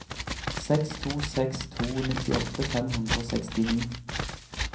seks to seks to nittiåtte fem hundre og sekstini